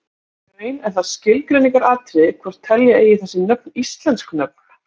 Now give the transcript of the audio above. Í raun er það skilgreiningaratriði hvort telja eigi þessi nöfn íslensk nöfn.